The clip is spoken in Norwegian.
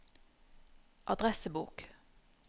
adressebok